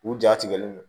U ja tigɛlen don